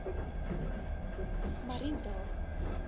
mariental